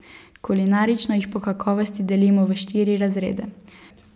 Kulinarično jih po kakovosti delimo v štiri razrede.